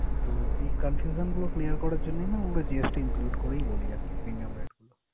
তো এই confusion গুলো clear করার জন্যই আমরা GST include করেই বলি আরকি premium rate গুলো।